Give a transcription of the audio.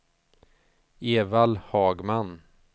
Evald Hagman